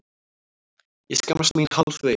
Ég skammast mín hálfvegis.